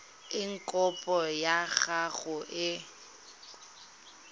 eng kopo ya gago e